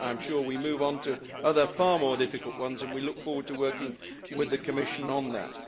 I am sure that we will move onto other far more difficult ones and we look forward to working with the Commission on that.